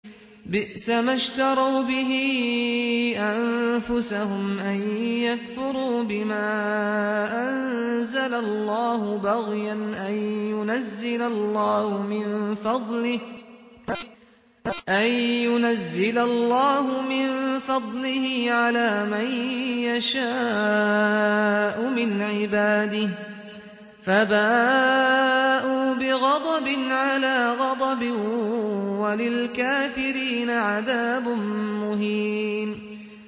بِئْسَمَا اشْتَرَوْا بِهِ أَنفُسَهُمْ أَن يَكْفُرُوا بِمَا أَنزَلَ اللَّهُ بَغْيًا أَن يُنَزِّلَ اللَّهُ مِن فَضْلِهِ عَلَىٰ مَن يَشَاءُ مِنْ عِبَادِهِ ۖ فَبَاءُوا بِغَضَبٍ عَلَىٰ غَضَبٍ ۚ وَلِلْكَافِرِينَ عَذَابٌ مُّهِينٌ